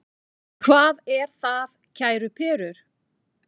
Hvað er það, kæru perur?